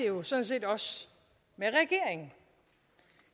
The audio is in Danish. jo sådan set også med regeringen